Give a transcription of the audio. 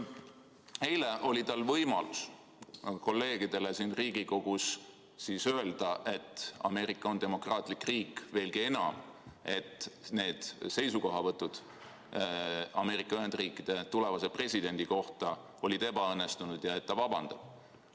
Eile oli tal võimalus kolleegidele siin Riigikogus öelda, et Ameerika on demokraatlik riik, veelgi enam, et need seisukohavõtud Ameerika Ühendriikide tulevase presidendi kohta olid ebaõnnestunud ja et ta vabandab.